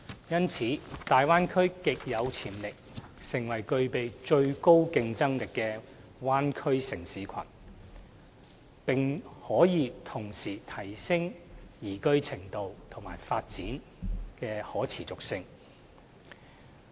因此，大灣區極有潛力成為具備最高競爭力的灣區城市群，並可同時提升其宜居度和發展的可持續性。